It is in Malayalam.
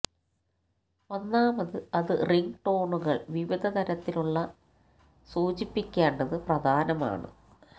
ഒന്നാമത് അത് റിംഗ് ടോണുകൾ വിവിധ തരത്തിലുള്ള സൂചിപ്പിക്കേണ്ടത് പ്രധാനമാണ്